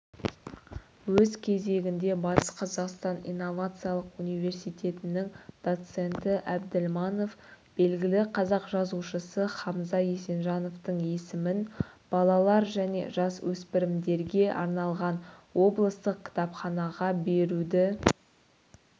өз кезегінде батыс қазақстан инновациялық университетінің доценті әбділманов белгілі қазақ жазушысы хамза есенжановтың есімін балалар мен жасөспірімдерге арналған облыстық кітапханаға беруді